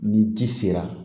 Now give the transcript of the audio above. Ni ji sera